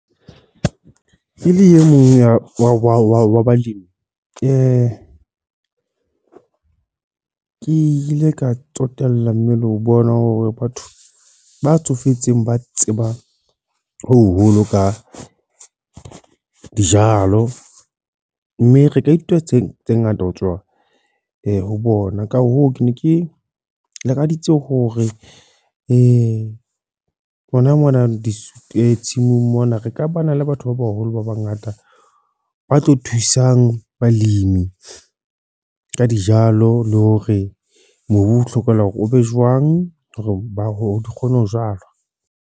Ke le e mong wa balemi. Ke ile ka tsotella mme le ho bona hore batho ba tsofetseng ba tseba ho boloka dijalo. Mme re ka ithuta tse tse ngata ho tswa ho bona. Ka hoo, ke ne ke lakaditse hore rona mona di tshimong mona re ka ba na le batho ba baholo ba bangata. Ba tlo thusang balemi ka dijalo, le hore mobu o hlokahala o be jwang. Hore ba kgone ho jwala.